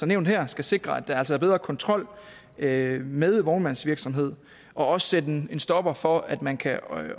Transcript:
nævnt her skal sikre at der altså er bedre kontrol med med vognmandsvirksomhed og også sætte en stopper for at man kan